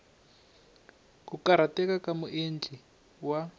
ku karhateka ka muendli wa